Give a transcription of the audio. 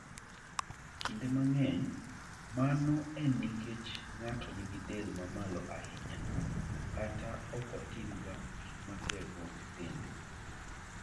Kinde mang'eny, mano en nikech ng'ato nigi del mamalo ahinya, kata ok otimga gik matego dende.